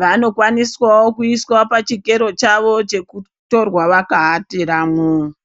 vanokwaniswawo kuiswawo pachikero chavo chekutorwa vakaatiramo